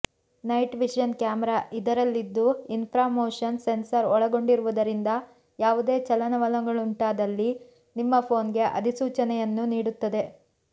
night vision camera ಇದರಲ್ಲಿದ್ದು infra motion sensor ಒಳಗೊಂಡಿರುವುದರಿಂದ ಯಾವುದೇ ಚಲನವಲನಗಳುಂಟಾದಲ್ಲಿ ನಿಮ್ಮ ಫೋನ್ಗೆ ಅಧಿಸೂಚನೆಯನ್ನು ನೀಡುತ್ತದೆ